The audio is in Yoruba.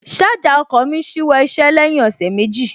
Ṣájà ọkọ̀ mí ṣíwọ́ iṣẹ́ lẹ́yìn ọ̀sẹ̀ méjì